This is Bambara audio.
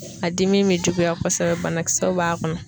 A dimi be juguya kosɛbɛ banakisɛw b'a kɔnɔ.